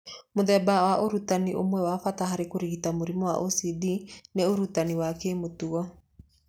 Mũthemba wa ũtarani ũmwe wa bata harĩ kũrigita mũrimũ wa OCD nĩ ũtarani wa kĩmĩtugo.